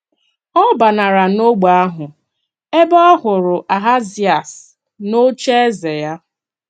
Ọ bānàrà n’ọ́gbè ahụ, ébé ọ hụrụ Ahazịas n’ocheeze ya.